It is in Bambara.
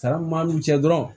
Sara min b'an n'u cɛ dɔrɔn